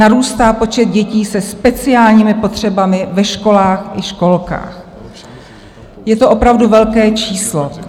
Narůstá počet dětí se speciálními potřebami ve školách i školkách, je to opravdu velké číslo.